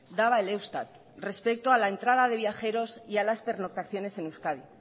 daba el eustat respecto a la entrada de viajeros y a las pernoctaciones en euskadi